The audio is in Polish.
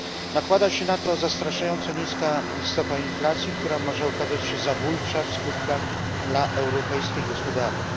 Nakłada się na to zastraszająco niska stopa inflacji, która może okazać się zabójcza w skutkach dla europejskiej gospodarki.